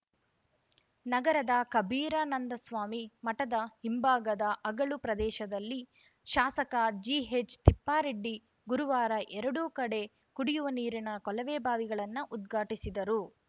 ನಗರದ ಕಬೀರಾನಂದಸ್ವಾಮಿ ಮಠದ ಹಿಂಭಾಗದ ಅಗಳು ಪ್ರದೇಶದಲ್ಲಿ ಶಾಸಕ ಜಿಎಚ್‌ ತಿಪ್ಪಾರೆಡ್ಡಿ ಗುರುವಾರ ಎರಡು ಕಡೆ ಕುಡಿಯುವ ನೀರಿನ ಕೊಳವೆಬಾವಿಗಳನ್ನ ಉದ್ಘಾಟಿಸಿದರು